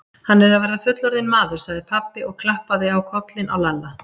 Hann er að verða fullorðinn maður, sagði pabbi og klappaði á kollinn á Lalla.